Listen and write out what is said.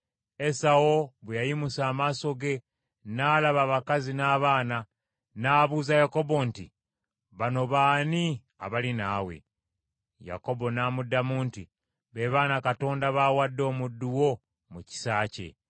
Esawu bwe yayimusa amaaso ge n’alaba abakazi n’abaana, n’abuuza Yakobo nti, “Bano baani abali naawe?” Yakobo n’amuddamu nti, “Be baana Katonda baawadde omuddu wo mu kisa kye.”